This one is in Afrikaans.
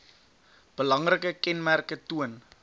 belangrike kenmerke toon